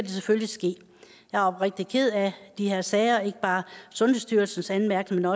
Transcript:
selvfølgelig ske jeg er oprigtigt ked af de her sager ikke bare sundhedsstyrelsens anmærkninger